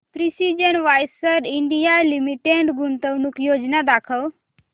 precision wires India limited गुंतवणूक योजना दाखव